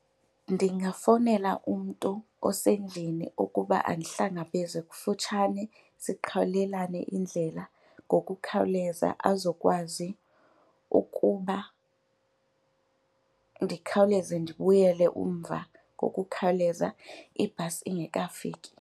Ndingafowunela umntu osendlini ukuba andihlangabeze kufutshane sikhawulelane indlela ngokukhawuleza azokwazi ukuba ndikhawuleze ndibuyele umva ngokukhawuleza ibhasi ingekafiki.